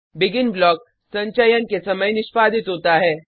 begin block संचयन के समय निष्पादित होता है